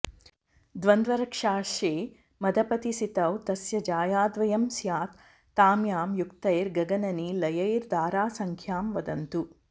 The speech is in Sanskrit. द्वन्द्वर्क्षाशे मदपतिसितौ तस्य जायाद्वयं स्यात् ताम्यां युक्तैर्गगननिलयैर्दारसंख्यां वदन्तु